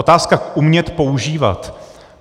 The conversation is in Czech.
Otázka umět používat.